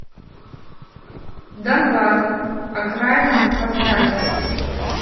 донбасс окраина поставь